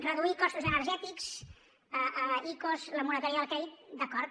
reduir costos energètics icos la moratòria del crèdit d’acord